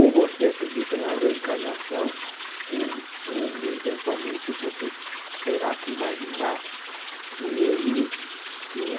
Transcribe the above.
Ou você acredita na reencarnação, ou ou eventualmente você terá que imaginar que ele tinha...